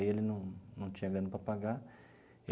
Aí ele não não tinha grana para pagar.